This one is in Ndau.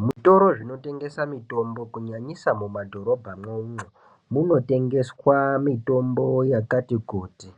Zvitoro zvinotengesa mutombo kunyanyisa mumadhorobha mwomwo munotengeswa mitombo yakati kuti